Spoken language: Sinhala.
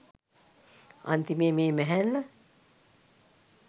අන්තිමේ මේ මැහැල්ල